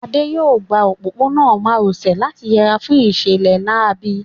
Adé yóò gba òpópónà má ro sè láti yẹra fún ìṣẹ̀lẹ̀ láabi